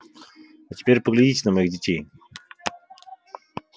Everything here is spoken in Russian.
а теперь поглядите на моих детей